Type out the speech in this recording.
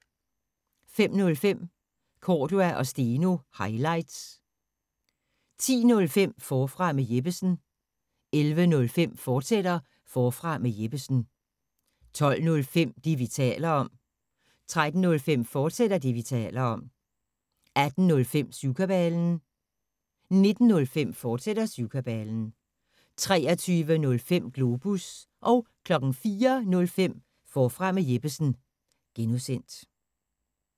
05:05: Cordua & Steno – highlights 10:05: Forfra med Jeppesen 11:05: Forfra med Jeppesen, fortsat 12:05: Det, vi taler om 13:05: Det, vi taler om, fortsat 18:05: Syvkabalen 19:05: Syvkabalen, fortsat 23:05: Globus 04:05: Forfra med Jeppesen (G)